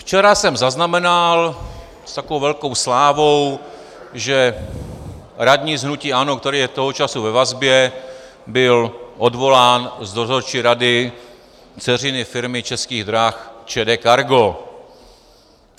Včera jsem zaznamenal, s takovou velkou slávou, že radní z hnutí ANO, který je toho času ve vazbě, byl odvolán z dozorčí rady dceřiné firmy Českých drah ČD Cargo.